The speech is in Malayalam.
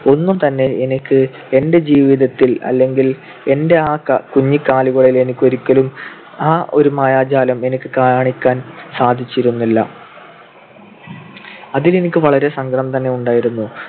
ഒന്നും തന്നെ എനിക്ക് എന്റെ ജീവിതത്തിൽ അല്ലെങ്കിൽ എന്റെ ആ കുഞ്ഞികാലുകളിൽ എനിക്ക് ഒരിക്കലും ആ ഒരു മായാജാലം എനിക്ക് കാണിക്കാൻ സാധിച്ചിരുന്നില്ല. അതിൽ എനിക്ക് വളരെ സങ്കടം തന്നെ ഉണ്ടായിരുന്നു.